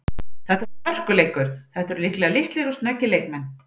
Þetta verður hörkuleikur, þetta eru líklega litlir og snöggir leikmenn.